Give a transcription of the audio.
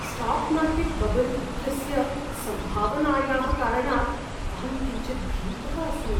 Stock market bubble इत्यस्य सम्भावनायाः कारणात् अहं किञ्चित् भीतः अस्मि।